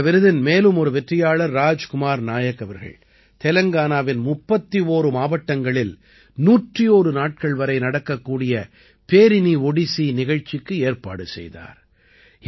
இந்த விருதின் மேலும் ஒரு வெற்றியாளர் ராஜ் குமார் நாயக் அவர்கள் தெலங்கானாவின் 31 மாவட்டங்களில் 101 நாட்கள் வரை நடக்கக்கூடிய பேரினி ஓடிசி நிகழ்ச்சிக்கு ஏற்பாடு செய்தார்